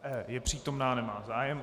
Je přítomna, nemá zájem.